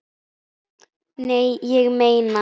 Nei, ég meina.